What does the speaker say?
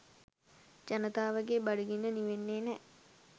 ජනතාවගේ බඩගින්න නිවෙන්නේ නෑ.